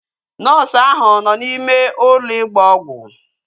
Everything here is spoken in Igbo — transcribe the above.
Nọọsu áhụ̀ nọ n'ime ụlọ ịgba ọgwụ